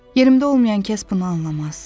Yerimdə olmayan kəs bunu anlamaz.